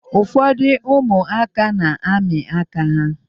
Ụfọdụ ụmụaka na-amị aka ha.